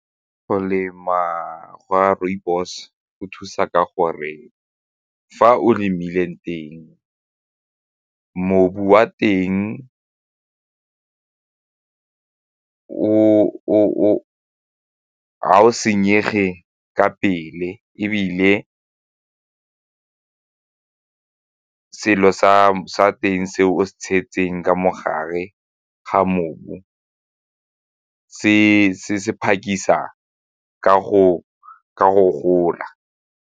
Go lemiwa ga rooibos go thusa ka gore fa o lemileng teng, mobu wa teng ga o senyege ka pele ebile selo sa teng se o se tshegetseng ka mo gare ga mobu se se ka go gola.